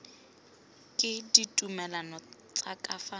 ke ditumalano tsa ka fa